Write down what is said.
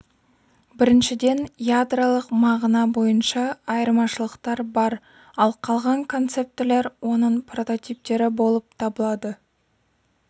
біріншіден ядролық мағына бойынша айырмашылықтар бар ал қалған концептілер оның прототиптері болып табылады